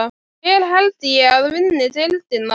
Hver held ég að vinni deildina?